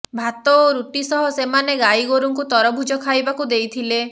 ଭାତ ଓ ରୁଟି ସହ ସେମାନେ ଗାଈଗୋରୁଙ୍କୁ ତରଭୁଜ ଖାଇବାକୁ ଦେଇଥିଲେ